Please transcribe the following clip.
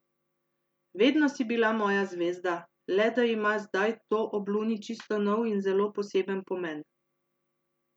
Vedno si bila moja zvezda, le da ima zdaj to ob Luni čisto nov in zelo poseben pomen.